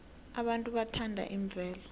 abantu bathanda imvelo